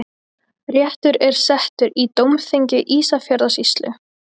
Réttur er settur í dómþingi Ísafjarðarsýslu!